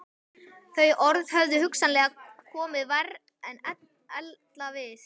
Þau orð höfðu hugsanlega komið verr en ella við